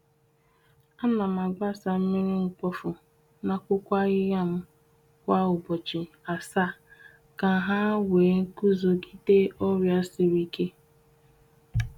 A na m agbasa mmiri mkpofu n’akwụkwọ ahịhịa m kwa ubochi asaa ka ha nwee nguzogide ọrịa siri ike.